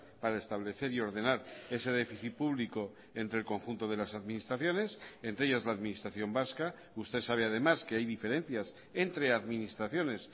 para establecer y ordenar ese déficit público entre el conjunto de las administraciones entre ellas la administración vasca usted sabe además que hay diferencias entre administraciones